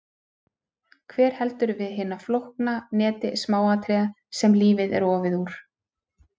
Hver heldur við hinu flókna neti smáatriða sem lífið er ofið úr?